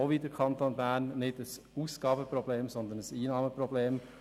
Wie der Kanton Bern haben wir kein Ausgaben-, sondern ein Einnahmenproblem.